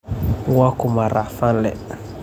Waa kuma racfaanle?